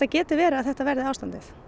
geti verið að þetta verði ástandið